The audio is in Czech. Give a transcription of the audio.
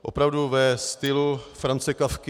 Opravdu ve stylu Franze Kafky.